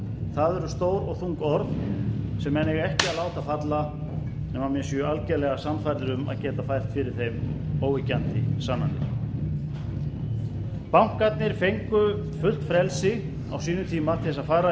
það eru stór og þung orð sem menn eiga ekki að láta falla nema menn séu algerlega sannfærðir um að geta fært fyrir þeim óyggjandi sannanir bankarnir fengu fullt frelsi á sínum tíma til þess að fara í